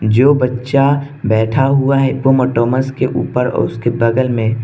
जो बच्चा बैठा हुआ है हिप्पोपोटेमस के ऊपर और उसके बगल में --